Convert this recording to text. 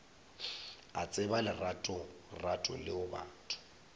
a tseba leratorato leo batho